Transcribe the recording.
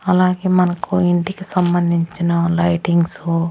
అలాగే మన్కు ఇంటికి సంభంచిన లైటింగ్సు --